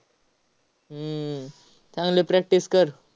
हम्म चांगलं practice कर.